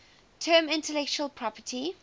term intellectual property